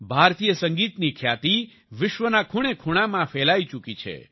ભારતીય સંગીતની ખ્યાતિ વિશ્વના ખૂણેખૂણામાં ફેલાઈ ચૂકી છે